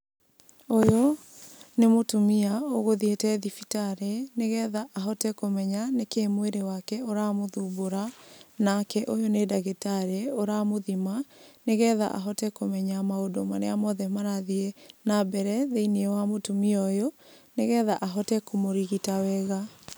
Ũyũ, nĩ mũtumia ũgũthiĩte thibitarĩ nĩgetha ahote kũmenya nĩkĩĩ mwĩrĩ wake ũramũthumbũra. Nake ũyũ nĩ ndagĩtarĩ ũramũthima nĩgetha ahote kũmenya maũndũ marĩa mothe marathiĩ na mbere thĩiniĩ wa mũtumia ũyũ, nĩgetha ahote Kũmũrigita wega.